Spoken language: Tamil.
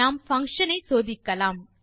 நம் பங்ஷன் ஐ சோதிக்கலாம்